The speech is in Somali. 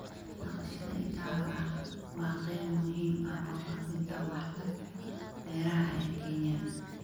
Dhaqashada idaha waa qayb muhiim ah oo ka mid ah waaxda beeraha ee Kenya